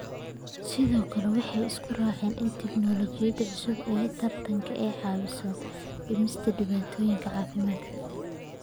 Sidoo kale, waxay isku raaceen in tignoolajiyada cusub ee taranka ay caawiso dhimista dhibaatooyinka caafimaadka.